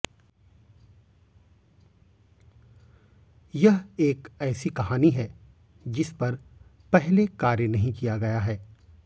यह एक ऐसी कहानी है जिस पर पहले कार्य नहीं किया गया है